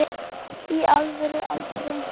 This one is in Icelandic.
í alvöru aldrei